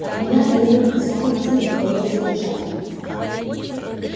от меня требуют санкцию на твоё задержание